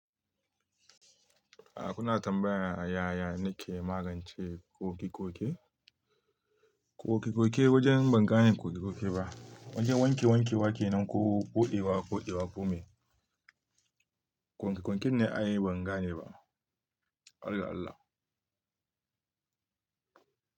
Ya kuna tambaya yaya nike magance ƙoƙe-ƙoƙe? Ƙoƙe-ƙoƙe wajen ban gane ƙoƙe-ƙoƙe ba. Wajen wanke-wanke wake nan ko ƙodewa, ƙodewa komai. Ƙonƙe-ƙonƙen ne ayi ban gane ba. Allah Allah.